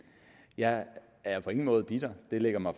jeg er på ingen måde bitter det ligger mig